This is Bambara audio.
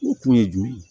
O kun ye jɔn ye